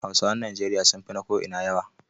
Hausawan Nijeriya sun fi na ko'ina yawa.